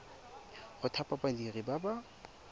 go thapa badiri ba ba